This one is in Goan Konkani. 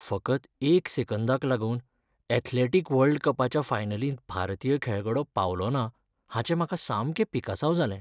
फकत एक सेकंदाक लागून ऍथलेटीक वर्ल्ड कपाच्या फायनलींत भारतीय खेळगडो पावलोना हाचें म्हाका सामकें पिकसांव जालें.